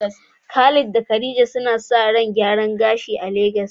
Khalid da khadija suna sa ran gyaran gashi a Lagos